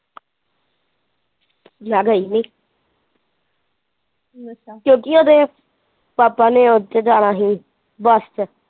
ਮੈਂ ਗਈ ਨੀ ਅੱਛਾ ਕਿਉਂਕਿ ਉਹਦੇ ਪਾਪਾ ਨੇ ਉੱਥੇ ਜਾਣਾ ਸੀ ਬੱਸ ਚ।